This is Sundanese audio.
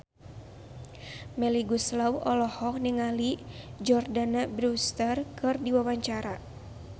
Melly Goeslaw olohok ningali Jordana Brewster keur diwawancara